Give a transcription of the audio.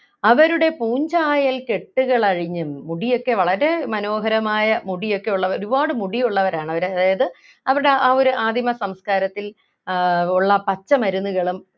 അവരുടെ പൂഞ്ചായൽ കെട്ടുകൾ അഴിഞ്ഞു മുടിയൊക്കെ വളരെ മനോഹരമായ മുടിയൊക്കെ ഉള്ള ഒരുപാട് മുടിയുള്ളവരാണ് അവരെ അതായത് അവരുടെ ആ ഒരു ആദിമ സംസ്കാരത്തിൽ ആഹ് ഉള്ള പച്ചമരുന്നുകളും